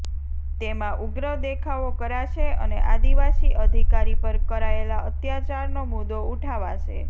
તેમાં ઉગ્ર દેખાવો કરાશે અને આદિવાસી અધિકારી પર કરાયેલા અત્યાચારનો મુદ્દો ઊઠાવાશે